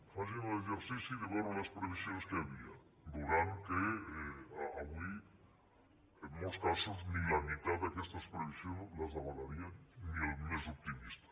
facin l’exercici de veure els previsions que hi havia veuran que avui en molts casos ni la meitat d’aquestes previsions les avalaria ni el més optimista